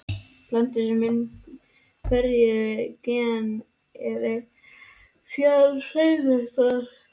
Plöntur sem bera hin ferjuðu gen eru síðan hreinræktaðar.